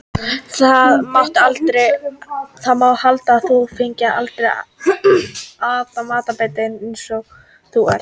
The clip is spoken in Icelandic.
Það mætti halda að þú fengir aldrei ætan matarbita, eins horuð og þú ert.